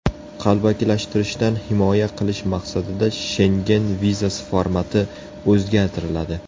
Qalbakilashtirishdan himoya qilish maqsadida Shengen vizasi formati o‘zgartiriladi.